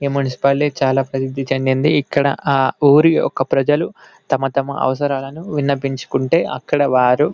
ఈ మునిసిపాలిటీ చాలా ప్రసిద్ధి చెందింది ఇక్కడ ఆ ఊరు యొక్క ప్రజలు తమ తమ అవసరాలను విన్నవించు కుంటే అక్కడ వారు --